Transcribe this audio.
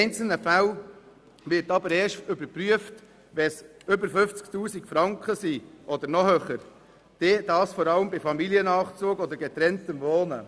In einzelnen Fällen erfolgt aber erst eine Prüfung, wenn der Bezug 50 000 Franken überschreitet, vor allem bei Familiennachzug oder getrenntem Wohnen.